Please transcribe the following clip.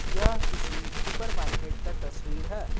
यह किसी सुपरमार्केट का तस्वीर है।